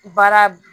Baara